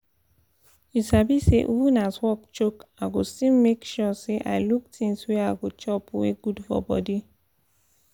you sabi say even as work choke i go still make sure say i look things wey i go chop wey good for body